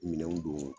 Minɛnw don